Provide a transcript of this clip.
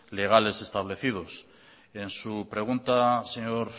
legales establecidos en su pregunta señor